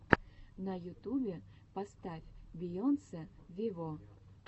на ютубе поставь бейонсе вево